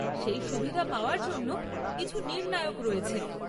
সেই সুবিধা পাওয়ার জন্য কিছু নির্ণায়ক রয়েছে।